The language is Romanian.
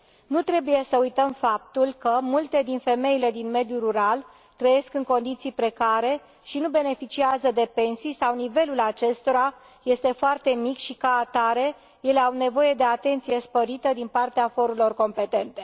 Nu trebuie să uităm faptul că multe femei din mediul rural trăiesc în condiții precare și nu beneficiază de pensii sau nivelul acestora este foarte mic și, ca atare, ele au nevoie de atenție sporită din partea forurilor competente.